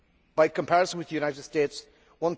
By comparison with the United States EUR